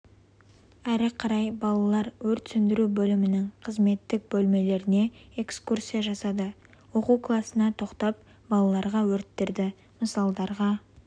әрі қарай балалар өрт сөндіру бөлімінің қызметтік бөлмелеріне экскурсия жасады оқу классына тоқтап балаларға өрттерді мысалдарға